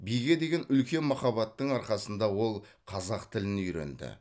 биге деген үлкен махаббаттың арқасында ол қазақ тілін үйренді